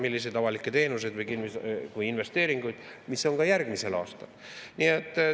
Milliseid avalikke teenuseid või investeeringuid, mis on ka järgmisel aastal?